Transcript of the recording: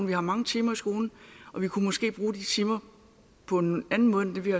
vi har mange timer i skolen og vi kunne måske bruge de timer på en anden måde end vi